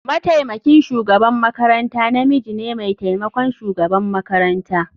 Mataimakin shugaban makaranta namiji ne mai taimakon shugaban makaranta.